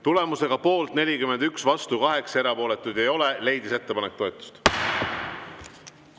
Tulemusega poolt 41, vastu 8, erapooletuid ei ole, leidis ettepanek toetust.